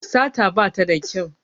Sata bata da kyau